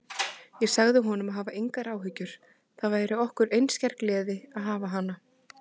Ég sagði honum að hafa engar áhyggjur, það væri okkur einskær gleði að hafa hana.